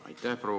Aitäh!